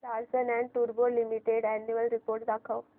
Larsen and टुर्बो Limited annual report दाखव